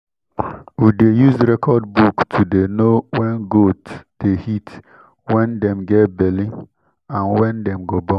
we dey use record book to dey know when goat dey heat when dem get belly and when dem go born.